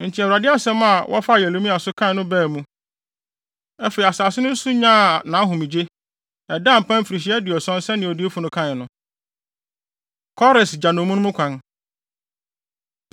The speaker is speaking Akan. Enti Awurade asɛm a wɔfaa Yeremia so kae no baa mu. Afei, asase no nso nyaa nʼahomegye, ɛdaa mpan mfirihyia aduɔson sɛnea odiyifo no kae no. Kores Gya Nnommum No Kwan